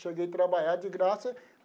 Cheguei a trabalhar de graça.